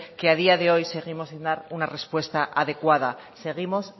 que a día de hoy seguimos sin dar una respuesta adecuada seguimos